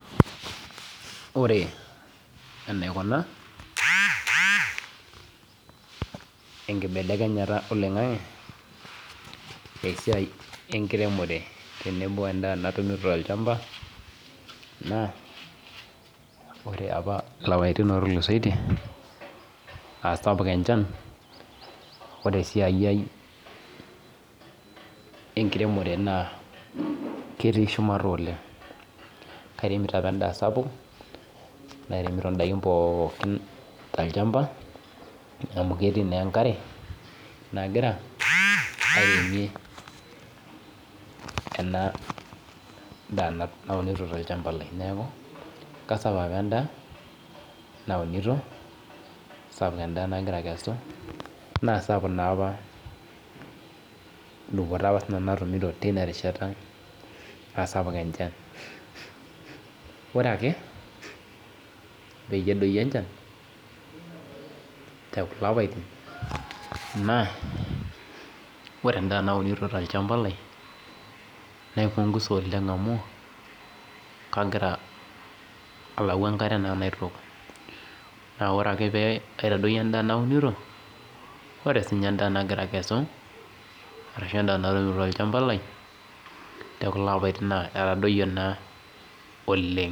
Ore enaikuna enkibelekenyata oloing'ang'e esiai enkiremore tenebo endaa natumito tolchamba naa ore apa lapaitin otulusoitie aasapuk enchan, ore esiaiai enkiremore naa ketii shumata oleng'. Kairemito apa endaa sapuk, nairemito indaikin pooki tolchamba amu ketii naa enkare nagira airemie ena daa naunito tolchamba lai neaku kaisapuk apa endaa naunito sapuk endaa nagira akesu naa sapuku naapa dupoto apa sinanu natumito tinarishata naa sapuk enchan. Ore ake peyie edoyio enchan tekulo apaitin naa ore endaa naunito tolchamba lai naipungusa oleng' amu kagira alau enkare naa naitook naa ore ake pee aitadoyio endaa naunito ore sinye endaa nagira akesu arashu natumito tolchamba lai tekulo apaitin naa etadoyie naa oleng'.